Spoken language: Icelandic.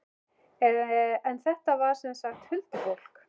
En þetta var sem sagt huldufólk.